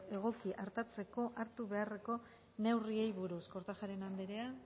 egoki artatzeko hartu beharreko neurriei buruz kortajarena andrea